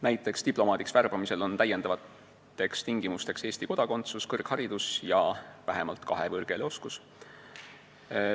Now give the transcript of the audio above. Näiteks on diplomaadiks värbamisel järgmised lisatingimused: Eesti kodakondsus, kõrgharidus ja vähemalt kahe võõrkeele oskus.